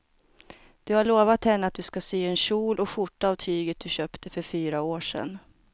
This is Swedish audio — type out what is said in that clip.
Du har lovat henne att du ska sy en kjol och skjorta av tyget du köpte för fyra år sedan.